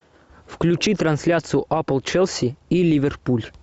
включи трансляцию апл челси и ливерпуль